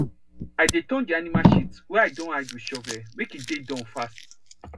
i dey turn the animal shit wey i don hide with shovel make e dey Accepted fast